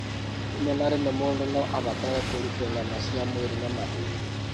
Rĩmwe na rĩmwe, mũndũ no abatare kũrutwo nyama cia mwĩrĩ na mahĩndĩ.